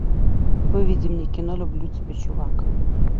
выведи мне кино люблю тебя чувак